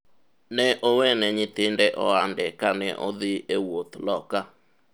ne owene nyithinde ohande kane odhi e wuodh loka